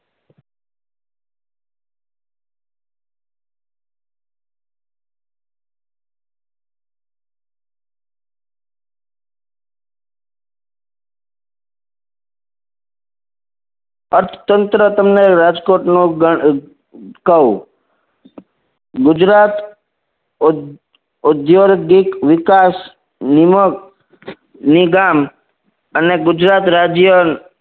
અર્થતંત્ર તમને રાજકોટ નું ગણ કવ ગુજરાત ઉધ્યોર ઉધ્યોધિક વિકાસ નિમક નિગામ અને ગુજરાત રાજ્ય